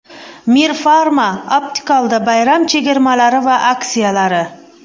Mir Pharma Optical’da bayram chegirmalari va aksiyalari.